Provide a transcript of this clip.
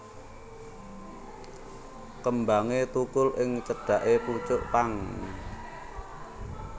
Kembangé thukul ing cedhaké pucuk pang